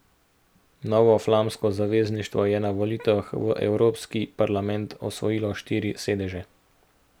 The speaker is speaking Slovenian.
Novo flamsko zavezništvo je na volitvah v Evropski parlament osvojilo štiri sedeže.